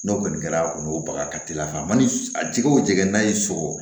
N'o kɔni kɛra a kɔni o baga ka teli a kan a mana jɛgɛ o jɛgɛ n'a y'i sɔrɔ